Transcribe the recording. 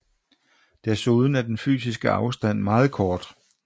Desuden er den fysiske afstand meget kort